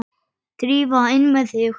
Drífa, inn með þig!